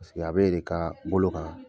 Paseke a bɛ e de ka bolo kan.